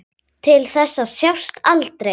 Til þess að sjást aldrei.